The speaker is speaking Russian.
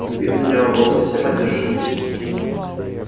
вид у него был совсем одержимый